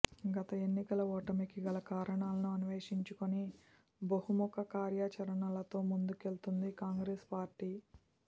గత ఎన్నికల ఓటమికి గల కారణాలను అన్వేషించుకొని బహుముఖ కార్యాచరణతో ముందుకెళ్తోంది కాంగ్రెస్ పార్టీ